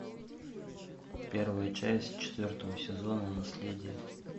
первая часть четвертого сезона наследие